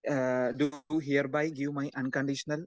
speaker 2 uh to you hereby give my unconditional